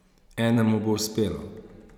Enemu bo uspelo!